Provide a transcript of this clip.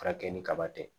Furakɛ ni kaba tɛ